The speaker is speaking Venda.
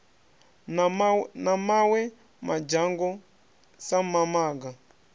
na mawe madzhango sa mamaga